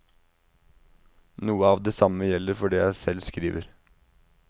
Noe av det samme gjelder for det jeg selv skriver.